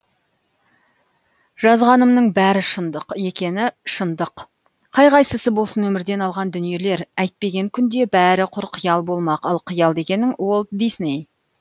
жазғанымның бәрі шындық екені шындық қай қайсысы болсын өмірден алған дүниелер әйтпеген күнде бәрі құр қиял болмақ ал қиял дегенің уолт дисней